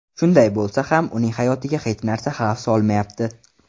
Shunday bo‘lsa ham, uning hayotiga hech narsa xavf solmayapti.